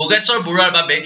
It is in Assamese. ভোগেশ্বৰ বৰুৱাৰ বাবেই